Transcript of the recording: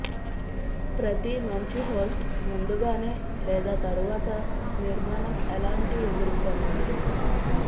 ప్రతి మంచి హోస్ట్ ముందుగానే లేదా తరువాత నిర్మాణం ఎలాంటి ఎదుర్కున్నాడు